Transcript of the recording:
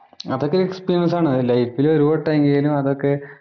അതൊക്കെ എക്സ്പീരിയന്‍സ് ആണ് ലൈഫില്. ഒരു വട്ടമെങ്കിലും അതൊക്കെ